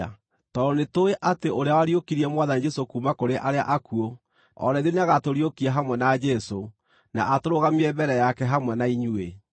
tondũ nĩtũũĩ atĩ ũrĩa wariũkirie Mwathani Jesũ kuuma kũrĩ arĩa akuũ, o na ithuĩ nĩagatũriũkia hamwe na Jesũ, na atũrũgamie mbere yake hamwe na inyuĩ.